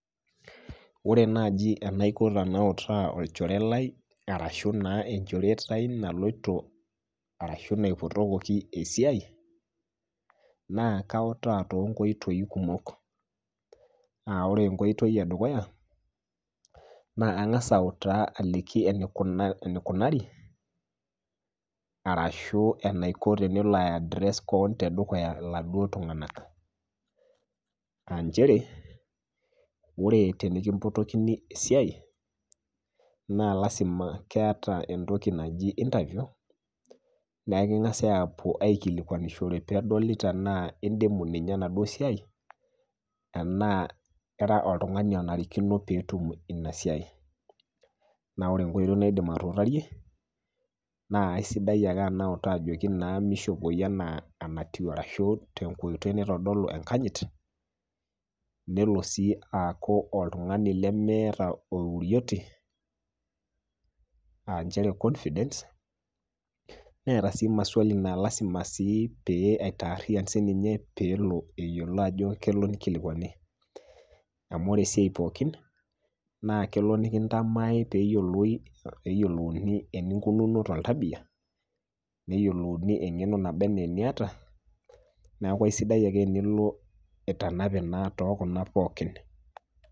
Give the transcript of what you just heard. Kore naaji tenaiko tenautaa olchore lai arashu naa enchoretaii naloto arashu naipotokaki esiaai naa kautaa too nkoitoii kumok, naa ore enkoitoi edukuya naa kangas auitaa aliki eneukari arashu enaiko tenelo aiaddress keon te dukuya laduo tunganak aainchere ore tenikimpotokini esiaai naa lasima piata entoki najii interview naa kingasi aapo aikilikuanishore peedoli tenaa indimu enaduo esiaai enaa ira oltunganu onarikino peetum inasiai, naa ore enkoitpi naidim atuutarie naa esidai ake anautaa ajoki meishopoi naa enkoitoi naitadolu enkanyit nelo sii aaku oltungani leneeta ourioti aa inchere confidence neeta sii maswali naa lasima sii pee aitaariyan sii ninye peelo eyiolo ajo kelo neikilikuani, amu ore esiaai pookin naa kelo nikintamaai peeyiolouni enunkununo te ntabiya neyiolouni engeno neba anaa nieta naaku esidai ake tenilo itanape naa too kuna pookin.